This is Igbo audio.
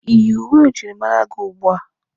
Iyi uwe njirimara gị ugbua?